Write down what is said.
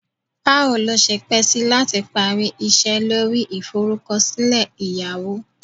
Bawo lo se pe si lati pari ise lori iforukosile eyawo?